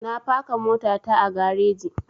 Na faka mota ta a gareji